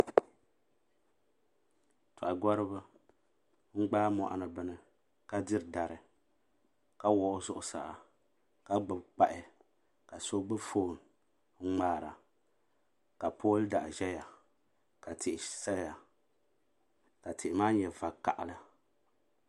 Toha gɔriba n gbaagi moɣani bini ka diri dari ka wuɣi o zuɣusaa ka gbibi kpahi ka so gbibi fooni n ŋmaara ka pooli daɣu ʒɛya ka tihi saya ka tihi maa nyɛ vakaha.